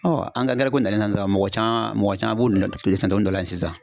ko nalen na sisan, mɔgɔ caman mɔgɔ caman b'olu dɔ la yen sisan